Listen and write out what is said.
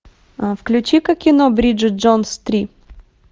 включи ка кино бриджит джонс три